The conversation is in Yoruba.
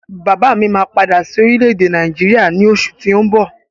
Bàbá mi máa padà sí orílẹ̀ èdè Nàìjíríà ní oṣù tí ó ń bọ̀